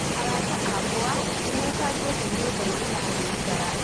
Arata akwa nĩ mefangite nyũmba-inĩ ya gũikara